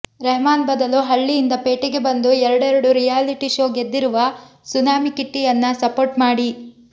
ರೆಹಮಾನ್ ಬದಲು ಹಳ್ಳಿಯಿಂದ ಪೇಟೆಗೆ ಬಂದು ಎರಡೆರಡು ರಿಯಾಲಿಟಿ ಶೋ ಗೆದ್ದಿರುವ ಸುನಾಮಿ ಕಿಟ್ಟಿಯನ್ನ ಸಪೋರ್ಟ್ ಮಾಡಿ